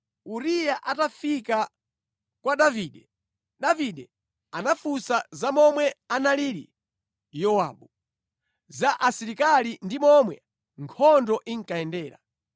Uriya atafika kwa Davide, Davide anamufunsa za momwe analili Yowabu, za asilikali ndi momwe nkhondo inkayendera.